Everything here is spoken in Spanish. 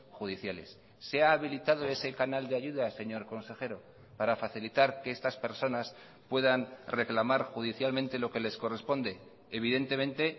judiciales se ha habilitado ese canal de ayuda señor consejero para facilitar que estas personas puedan reclamar judicialmente lo que les corresponde evidentemente